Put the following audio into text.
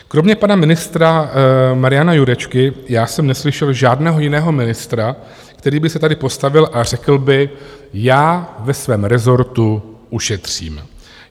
Kromě pana ministra Mariana Jurečky já jsem neslyšel žádného jiného ministra, který by se tady postavil a řekl by - já ve svém rezortu ušetřím.